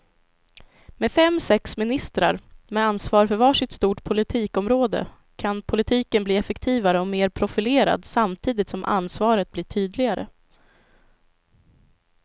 Med fem, sex ministrar med ansvar för var sitt stort politikområde kan politiken bli effektivare och mer profilerad samtidigt som ansvaret blir tydligare.